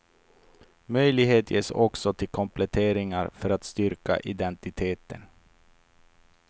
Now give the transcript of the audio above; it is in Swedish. Möjlighet ges också till kompletteringar för att styrka identiteten.